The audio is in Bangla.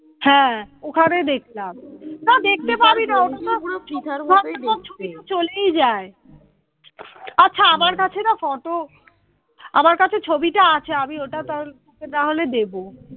আচ্ছা আমার কাছে না ফটো, আমার কাছে না ছবিটা আছে আমি ওটা তাহলে তোকে তাহলে দেব।